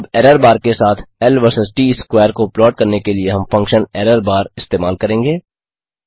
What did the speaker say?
अब error bar के साथ ल वीएस ट स्क्वेयर को प्लॉट करने के लिए हम फंक्शन errorbar इस्तेमाल करेंगे